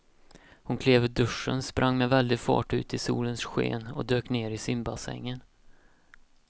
Hon klev ur duschen, sprang med väldig fart ut i solens sken och dök ner i simbassängen.